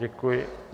Děkuji.